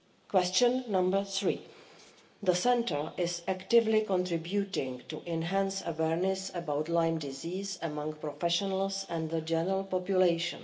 Question three the centre is actively contributing to enhance awareness about Lyme disease among professionals and the general population.